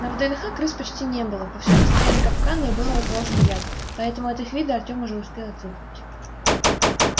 на вднх крыс почти не было повсюду стояли капканы и был разложен яд поэтому от их вида артем уже успел отвыкнуть